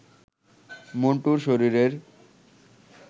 মন্টুর শরীরের